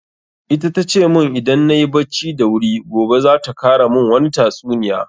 Ita tace mun idan nayi bacci da wuri gobe za ta kara mun wani tatsuniya.